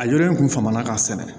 A yɔrɔ in tun fama na ka sɛnɛ